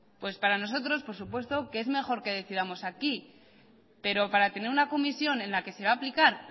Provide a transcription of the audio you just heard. pues para nosotros por supuesto que es mejor que decidamos aquí pero para tener una comisión en la que se va a aplicar